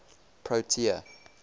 protea